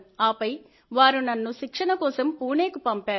ఆపై వారు నన్ను శిక్షణ కోసం పూణేకు పంపారు